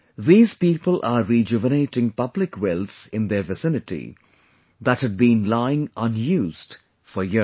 These people are rejuvenating public wells in their vicinity that had been lying unused for years